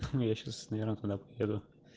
я сейчас наверно тогда поеду